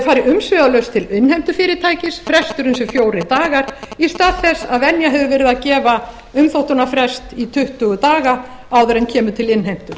fari umsvifalaust til innheimtufyrirtækis fresturinn sé fjórir dagar í stað þess að venja hefur verið að gefa umþóttunarfrest í tuttugu daga áður en kemur til innheimtu